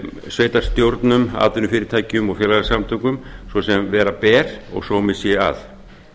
sveitarstjórnum atvinnufyrirtækjum og félagasamtökum svo sem vera ber og sómi sé að